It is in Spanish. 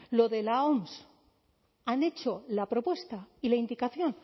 lo de la oms han hecho la propuesta y la indicación